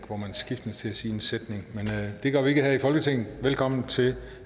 hvor man skiftes til at sige en sætning men det gør vi ikke her i folketinget velkommen til